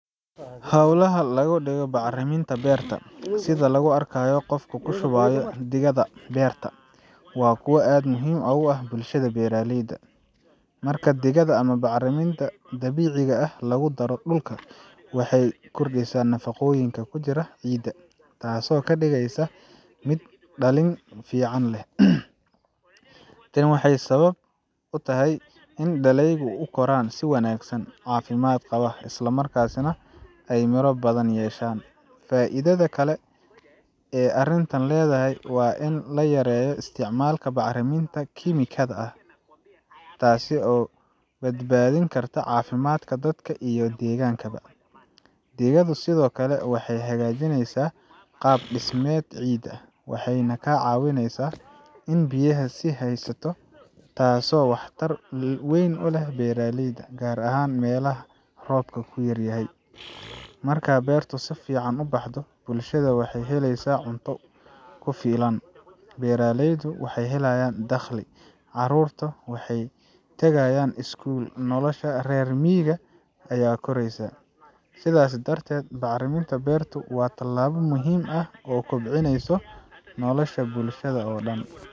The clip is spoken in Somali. Hawlaha lagu dhigo bacriminta beerta, sida lagu arkayo qofka ku shubaya digada beerta, waa kuwo aad muhiim ugu ah bulshada beeraleyda. Marka digada ama bacriminta dabiiciga ah lagu daro dhulka, waxay kordhisaa nafaqooyinka ku jira ciidda, taasoo ka dhigeysa mid dhalid fiican leh. Tani waxay sabab utahay in dalagyadu u koraan si wanaagsan, caafimaad qaba, isla markaana ay miro badan yeeshaan. Faa’iidada kale ee arrintani leedahay waa in la yareeyo isticmaalka bacriminta kiimikada ah, taasoo badbaadin karta caafimaadka dadka iyo deegaanka. Digadu sidoo kale waxay hagaajisaa qaab dhismeedka ciidda, waxayna ka caawisaa in ay biyaha sii haysato, taasoo waxtar weyn u leh beeraleyda, gaar ahaan meelaha roob yar yahay. Marka beertu si fiican u baxdo, bulshada waxay helaysaa cunto ku filan, beeraleydu waxay helayaan dakhli, carruurta waxay tagayaan iskuul, nolosha reer miyigana way koraysaa. Sidaas darteed, bacriminta beerta waa tallaabo muhiim ah oo kobcisa nolosha bulshada oo dhan.